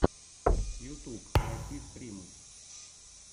ютуб найти стримы